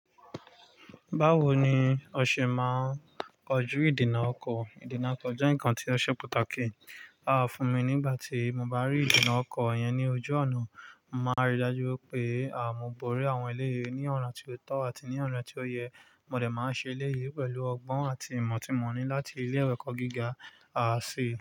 Báwo ni o ṣe máa ń kojú ìdènà ọkọ̀? Ìdènà ọkọ̀ jẹ́ nǹkan tí ó ṣe pàtàkì. Rárá, fún mi nígbà tí mo bá rí ìdènà ọkọ̀ yẹn ní ojú ọ̀nà, màá rí i dájú wípé àmúborí àwọn eléyi ní ọ̀na tí ó tọ́ àti ní ọ̀na tí ó yẹ. Mòdẹ̀ máa ṣe eléyè pẹ̀lú ọgbọ́n àti ìmọ̀ tí mo ní láti ilé ìwé ẹ̀kọ́ gíga ṣ̀ì.